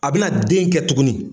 A bɛna den kɛ tuguni